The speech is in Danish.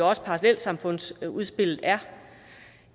også parallelsamfundsudspillet er